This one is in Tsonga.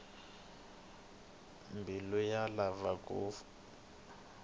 mbilu yi lava ku hlayisiwa